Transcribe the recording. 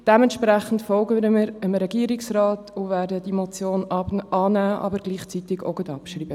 Dementsprechend folgen wir dem Regierungsrat und werden die Motion annehmen, aber gleichzeitig abschreiben.